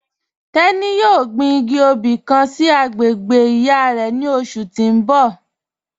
Tẹni yọ̀ọ́ gbìn igì obì kàn sí agbègbè iyá rẹ̀ ni ọṣù tì n bọ̀.